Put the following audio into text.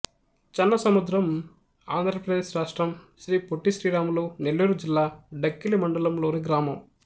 చెన్నసముద్రం ఆంధ్ర ప్రదేశ్ రాష్ట్రం శ్రీ పొట్టి శ్రీరాములు నెల్లూరు జిల్లా డక్కిలి మండలం లోని గ్రామం